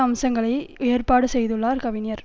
அம்சங்களை ஏற்பாடு செய்துள்ளார் கவிஞர்